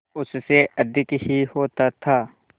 उससे अधिक ही होता था